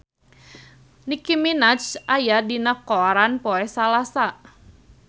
Nicky Minaj aya dina koran poe Salasa